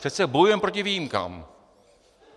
Přece bojujeme proti výjimkám.